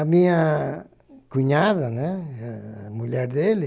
A minha cunhada, né, a mulher dele,